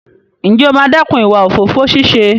Ǹjẹ́ o máa dẹ́kun ìwà òfófó ṣíṣe?